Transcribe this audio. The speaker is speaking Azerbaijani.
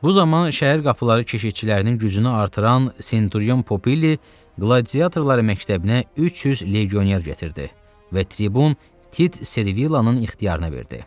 Bu zaman şəhər qapıları keşiyçilərinin gücünü artıran Senturion Popili qladiatorlar məktəbinə 300 legioner gətirdi və tribun Tit Servillanın ixtiyarına verdi.